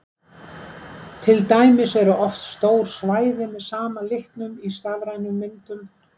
til dæmis eru oft stór svæði með sama litnum í stafrænum myndum